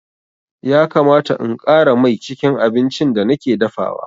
Ya kamata in ƙara mai cikin abincin da nake dafawa.